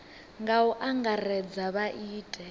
nga u angaredza vha ite